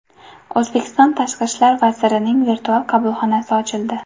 O‘zbekiston Tashqi ishlar vazirining virtual qabulxonasi ochildi.